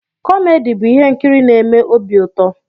Komedi bụ ihe nkiri n'eme obi ụtọ.